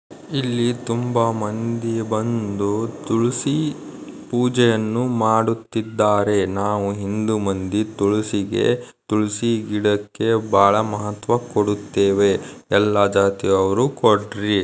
ಇಲ್ಲಿ ತುಂಬಾ ಒಂದೇ ಒಂದು ತುಳಸಿ ಪೂಜೆಯನ್ನು ಮಾಡುತ್ತಿದ್ದಾರೆ ನಾವು ಇಂದು ಮಂದಿ ತುಳಸಿ ಗಿಡ ಬಹಳ ಮಹತ್ವ ಕೊಡುತ್ತೇವೆ ಎಲ್ಲ ಜಾತಿಯವರು ಕೊಡ್ರಿ.